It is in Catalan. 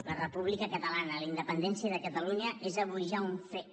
la república catalana la independència de catalunya és avui ja un fet